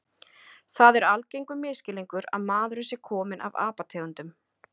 Það er algengur misskilningur að maðurinn sé kominn af apategundum.